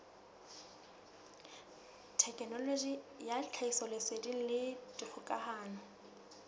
thekenoloji ya tlhahisoleseding le dikgokahano